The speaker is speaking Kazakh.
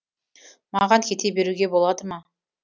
маған кете беруге болады ма